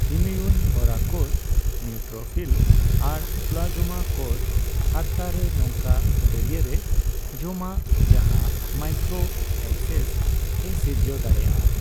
Immune ᱦᱚᱨᱟ ᱠᱳᱥ, neutrophil ᱟᱨ ᱯᱞᱟᱡᱚᱢᱟ ᱠᱳᱥ, ᱦᱟᱨᱛᱟᱨᱮ ᱱᱚᱝᱠᱟ ᱫᱟᱹᱨᱭᱟᱹᱨᱮ ᱡᱚᱢᱟᱜᱼᱟ, ᱡᱟᱦᱟᱸ ᱢᱟᱭᱠᱨᱳᱮᱵᱽᱥᱮᱥ ᱮ ᱥᱤᱨᱡᱟᱹᱣ ᱫᱟᱲᱮᱭᱟᱜᱼᱟ ᱾